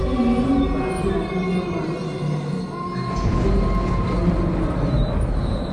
kini o n fa ki abiya ma dun ni ati koko lori oyan